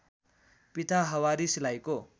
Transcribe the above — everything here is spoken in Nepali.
पिता हवारी सिलाइको